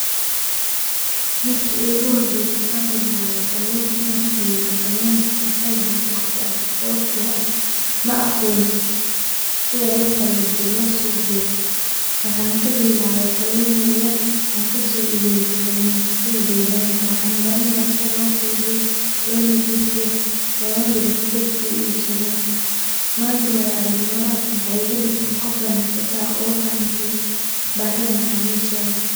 Marki igu horeyse aan bilawo kalun inan iibiyo kalunka waxay ahayd waqti aad u adag sawabto ah maaqonin sida loqalajiyo lo suq geyo waxaan kabilawe kalun yaryar aan kaso iibiye kalumaysatada deeganka waxaan baranaya sida lo ke'ydiyo lo nadiifiyo loona digo si dadka u ibsadan manta waaya aragnimadas waxay iga digte qof ganacsata ah oo fahamtay baahida macamiisheda.